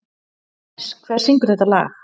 Dennis, hver syngur þetta lag?